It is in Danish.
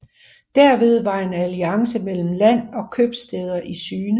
Derved var en alliance mellem land og købstæder i syne